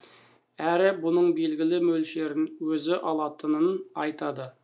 әрі бұның белгілі мөлшерін өзі алатынын айтады